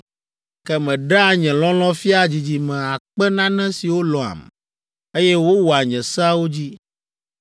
Ke meɖea nye lɔlɔ̃ fiaa dzidzime akpe nane siwo lɔ̃am, eye wowɔa nye seawo dzi.